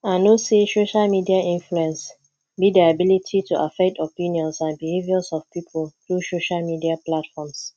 i know say social media influence be di ability to affect opinions and behaviors of people through social media platforms